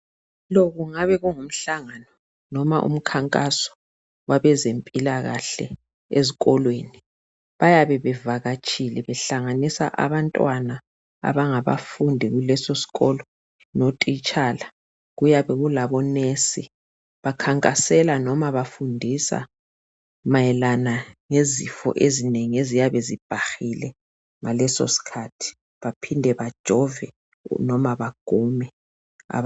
Lo kungabe kungumhlangano loba umkhankaso wabezempilakahle ezikolweni. Bayabe bevakatshile behlanganisa abantwana abangabafundi kuleso sikolo notitshala. Kuyabe kulabonesi. Bakhankasela loba bafundisa mayelana ngezifo ezinengi eziyabe zibhahile ngalesosikhathi baphinde bajove noma bagume.